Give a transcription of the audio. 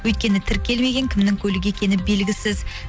өйткені тіркелмеген кімнің көлігі екені белгісіз